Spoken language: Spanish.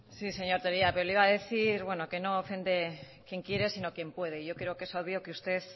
sí señor tellería pero le iba a decir que no ofende quien quiere sino quien puede yo creo que es obvio que usted